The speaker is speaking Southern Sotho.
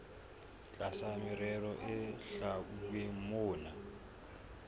tlasa merero e hlwauweng mona